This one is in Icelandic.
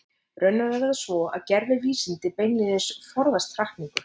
Raunar er það svo að gervivísindi beinlínis forðast hrakningu.